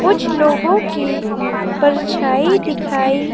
कुछ लोगो के परछाई दिखाई--